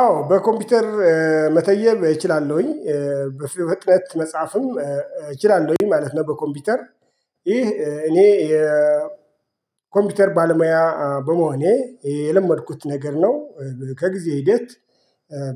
አዎ በኮምፒውተር መተየብ እችላለሁኝ በፍጥህነት መጽሐፍም እችላለሁኝ ማለት ነው። በኮምፒውተር ይህ እኔ የኮምፒውተር ባለሙያ በመሆኔ የለመድኩት ነገር ነው። ከግዜ ሂደት